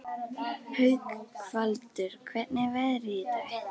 Haukvaldur, hvernig er veðrið í dag?